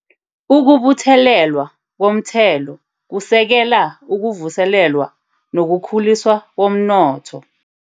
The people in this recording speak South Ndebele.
Ukubuthelelwa Komthelo Kusekela Ukuvuselelwa Nolukhuliswa Komnotho